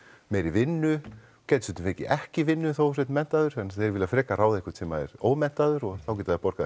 meiri vinnu gætir stundum fengið ekki vinnu þó þú sért menntaður þeir vilja frekar ráða einhvern sem er ómenntaður og þá geta þeir borgað